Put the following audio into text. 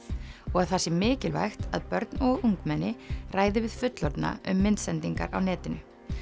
og að það sé mikilvægt að börn og ungmenni ræði við fullorðna um myndsendingar á netinu